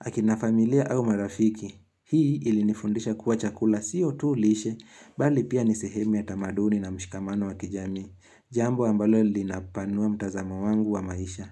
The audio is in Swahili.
Akina familia au marafiki, hii ilinifundisha kuwa chakula sio tu lishe, bali pia ni sehemu ya tamaduni na mshikamano wa kijamii, jambo ambalo linapanua mtazamo wangu wa maisha.